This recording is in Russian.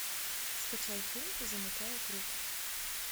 скачай фильм замыкая круг